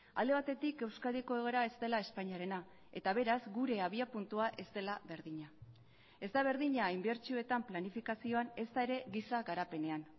alde batetik euskadiko egoera ez dela espainiarena eta beraz gure abiapuntua ez dela berdina ez da berdina inbertsioetan planifikazioan ezta ere giza garapenean